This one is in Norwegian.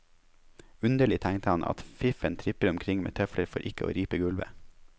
Underlig, tenkte han, at fiffen tripper omkring med tøfler for ikke å ripe gulvet.